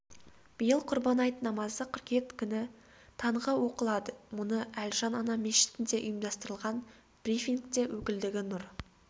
биыл құрбан айт намазы қыркүйек күні таңғы оқылады мұны әлжан ана мешітінде ұйымдастырылған брифингте өкілдігі нұр